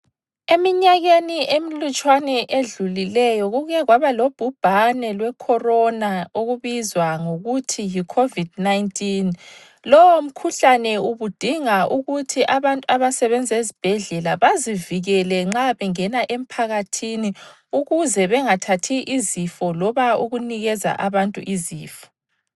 Eminyakeni emilutshwane edlulileyo kuke kwaba lobhubhane lweCorona okubizwa ngokuthi yiCovid 19. Lowo mkhuhlane ubudinga ukuthi abantu abasebenza ezibhedlela bazivikele nxa bengena emphakathini ukuze bengathathi izifo loba ukunikeza abantu izifo.